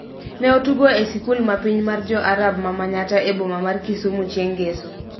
ne otugo e sikul ma piny mar Jo-Arab ma Manyatta e boma mar Kisumu chieng' ngeso.